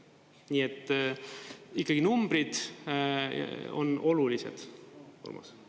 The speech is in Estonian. Nii et ikkagi numbrid on olulised, Urmas.